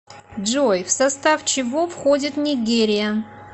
джой в состав чего входит нигерия